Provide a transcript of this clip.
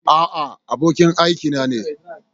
A'a, abokin aikina ne.